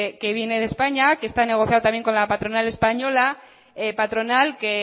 que viene de españa que está negociado también con la patronal española patronal que